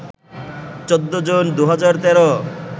১৪ June ২০১৩